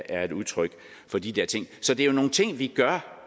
er et udtryk for de der ting så det er jo nogle ting vi gør